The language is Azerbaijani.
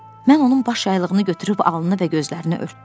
Mən onun baş yaylığını götürüb alnını və gözlərini örtdüm.